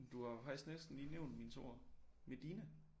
Du har jo faktisk næsten lige nævnt min 2'er Medina